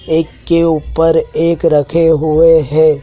एक के ऊपर एक रखें हुए हैं।